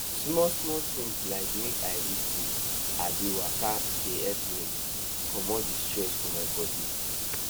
small small things like make i read book abi waka dey help me comot di stress for my body